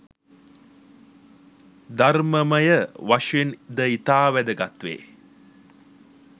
ධර්මමය වශයෙන් ද ඉතා වැදගත් වේ